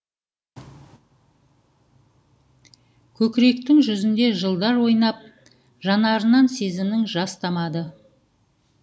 көкіректің жүзінде жылдар ойнап жанарынан сезімнің жас тамады